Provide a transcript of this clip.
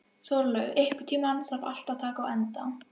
Þórlaug, einhvern tímann þarf allt að taka enda.